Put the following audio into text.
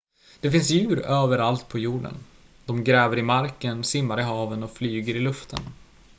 det finns djur överallt på jorden de gräver i marken simmar i haven och flyger i luften